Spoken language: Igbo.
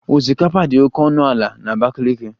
Osikapa dị oke ọnụ ala na Abakiliki